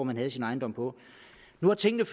man havde sin ejendom på nu har tingene